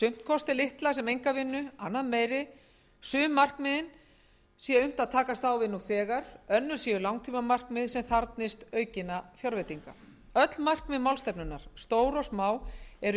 kosti litla sem enga vinnu annað meiri sum markmiðin sé unnt að takast á við nú þegar önnur séu langtímamarkmið sem þarfnist aukinna fjárveitinga öll markmið málstefnunnar stór og smá eru